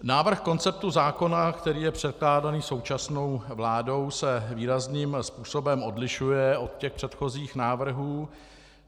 Návrh konceptu zákona, který je předkládán současnou vládou, se výrazným způsobem odlišuje od těch předchozích návrhů.